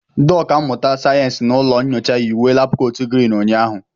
Ndị ọkà mmụta sayensị na ụlọ nyocha yi uwe labkot Green ụnyaahụ.